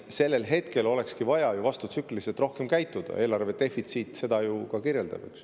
Sellisel hetkel olekski vaja ju rohkem vastutsükliliselt käituda, eelarvedefitsiit seda ju ka kirjeldab.